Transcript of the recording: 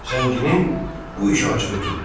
Zənginin bu işıq acığı tutdu.